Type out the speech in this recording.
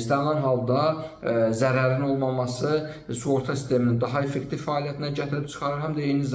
istənilən halda zərərin olmaması sığorta sisteminin daha effektiv fəaliyyətinə gətirib çıxarır.